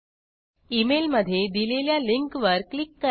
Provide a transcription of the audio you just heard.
email मध्ये दिलेल्या linkवर क्लिक करा